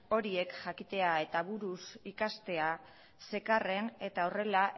horiek jakitea eta buruz ikastea zekarren eta horrela